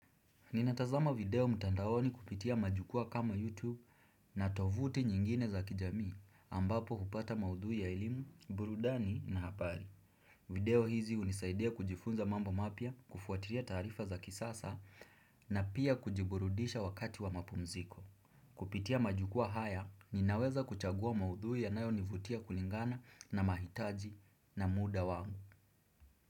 Ninatazama video mtandaoni kupitia majukwaa kama YouTube na tovuti nyingine za kijamii ambapo hupata maudhui ya elimu, burudani na hapari. Video hizi hunisaidia kujifunza mambo mapya kufuatiria taarifa za kisasa na pia kujiburudisha wakati wa mapumziko. Kupitia majukwaa haya, ninaweza kuchagua maudhui yanayonivutia kulingana na mahitaji na muda wangu.